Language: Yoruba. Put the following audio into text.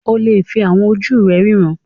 O lè fi àwọn ojú rẹ ríran